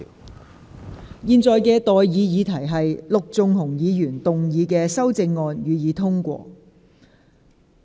我現在向各位提出的待議議題是：陸頌雄議員動議的修正案，予以通過。